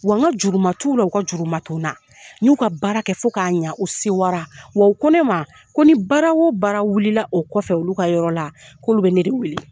Wa n ka juru man t'u la u ka juru man to n na n y'u ka baara kɛ fo k'a ɲɛ u sewa ra wa u ko ne ma ko ni baara o baara wuli la o kɔfɛ olu ka yɔrɔ la k'olu bɛ ne de weele.